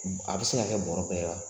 A bɛ se ka kɛ bɔrɛ pɛrɛla